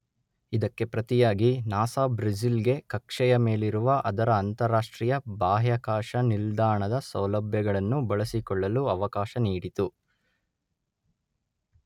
ಇದಕ್ಕೆ ಪ್ರತಿಯಾಗಿ NASA Brazil ಗೆ ಕಕ್ಷೆಯ ಮೇಲಿರುವ ಅದರ ಅಂತರರಾಷ್ಟ್ರೀಯ ಬಾಹ್ಯಾಕಾಶ ನಿಲ್ದಾಣದ ಸೌಲಭ್ಯಗಳನ್ನು ಬಳಸಿಕೊಳ್ಳಲು ಅವಕಾಶ ನೀಡಿತು.